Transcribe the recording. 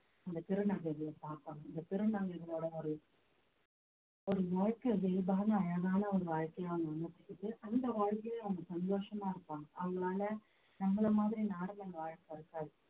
அந்த திருநங்கைகளை பார்க்கணும் இந்த திருநங்கைகளோட ஒரு ஒரு இயல்பான அழகான ஒரு வாழ்க்கைய அவங்க அமைச்சுக்கிட்டு அந்த வாழ்க்கையில அவங்க சந்தோஷமா இருப்பாங்க அவங்களால நம்மளை மாதிரி நாடகம் வாழ பிறக்காது